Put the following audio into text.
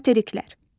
Materiklər.